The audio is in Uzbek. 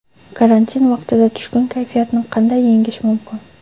Karantin vaqtida tushkun kayfiyatni qanday yengish mumkin?